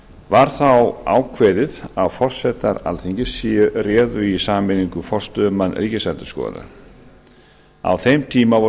var þá ákveðið að forsetar alþingis réðu í sameiningu forstöðumann ríkisendurskoðunar á þeim tíma